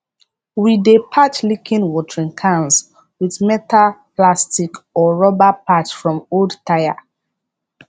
we dey patch leaking watering cans with melta plastic or rubber patch from old tyre